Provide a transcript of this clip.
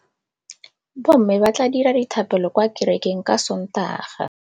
Bommê ba tla dira dithapêlô kwa kerekeng ka Sontaga.